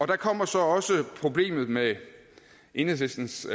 der kommer så også problemet med enhedslistens